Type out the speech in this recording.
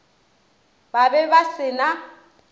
ba be ba se na